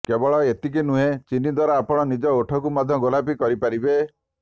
କେବଳ ଏତିକି ନୁହେଁ ଚିନିଦ୍ୱାରା ଆପଣ ନିଜ ଓଠକୁ ମଧ୍ୟ ଗୋଲାପୀ କରିପାରିବେ